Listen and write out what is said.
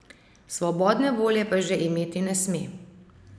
Svobodne volje pa že imeti ne sme!